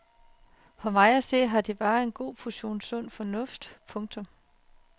For mig at se har de bare en god portion sund fornuft. punktum